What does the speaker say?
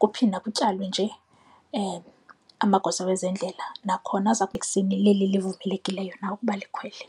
kuphinda kutyalwe nje amagosa wezendlela nakhona livumelekileyo na ukuba likhwele.